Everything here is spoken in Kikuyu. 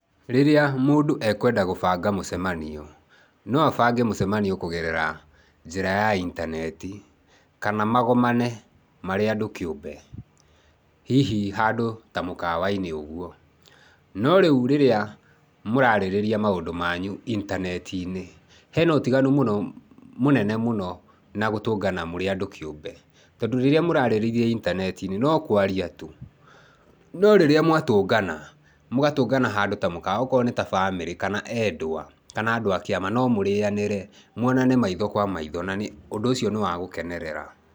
Rĩrĩa mũndũ ekwenda gũbanga mũcemanio, no abange mũcemanio kũgerera njĩra ya intaneti kana magomane marĩ andũ kĩũmbe, hihi handũ ta mũkawa-inĩ ũguo. No rĩu rĩrĩa mũrarĩrĩa maũndũ manyu intaneti-inĩ hena ũtiganu mũnene mũno na gũtũngana mũrĩ andũ kĩũmbe, tondũ rĩrĩa mũraarĩrĩria intaneti-ini no kũaria tu. No rĩrĩa mwatũngana, mũgatũngana handũ ta mũkawa, okorwo nĩ ta bamĩrĩ kana endwa, kana andũ a kĩama, no mũrĩanĩre, mũonane maitho kwa maitho, na ũndũ ũcio nĩ wa gũkenerera.